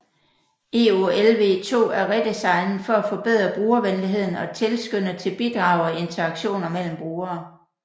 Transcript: EOLv2 er redesignet for at forbedre brugervenligheden og tilskynde til bidrag og interaktioner mellem brugere